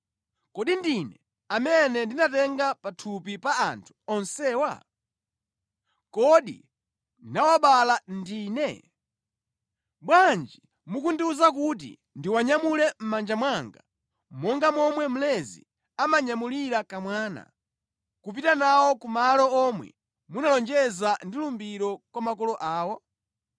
Kodi Ndine amene ndinatenga pathupi pa anthu onsewa? Kodi ndinawabala ndine? Bwanji mukundiwuza kuti ndiwanyamule mʼmanja mwanga, monga momwe mlezi amanyamulira kamwana, kupita nawo ku malo omwe munalonjeza ndi lumbiro kwa makolo awo?